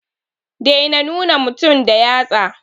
Dai na nuna mutum da yatsa